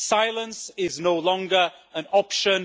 Silence is no longer an option.